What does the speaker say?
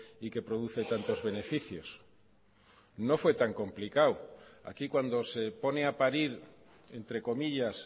y que produce tantos beneficios no fue tan complicado aquí cuando se pone a parir entre comillas